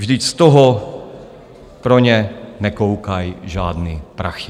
Vždyť z toho pro ně nekoukaj žádný prachy!